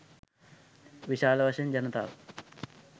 විශාල වශයෙන් ජනතාව